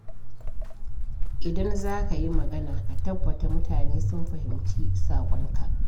Idan za ka yi magana, ka tabbata mutane sun fahimci saƙonka.